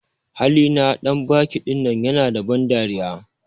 Hali na dan banki ɗinan ƴana da ban dariya.